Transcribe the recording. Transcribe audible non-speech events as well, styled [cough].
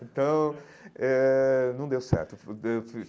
Então eh não deu certo. [unintelligible]